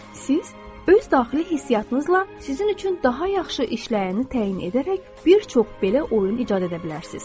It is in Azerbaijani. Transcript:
Siz öz daxili hissiyyatınızla sizin üçün daha yaxşı işləyəni təyin edərək bir çox belə oyun icad edə bilərsiniz.